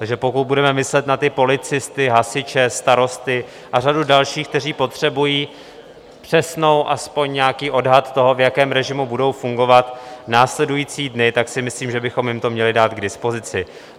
Takže pokud budeme myslet na ty policisty, hasiče, starosty a řadu dalších, kteří potřebují přesný, aspoň nějaký odhad toho, v jakém režimu budou fungovat následující dny, tak si myslím, že bychom jim to měli dát k dispozici.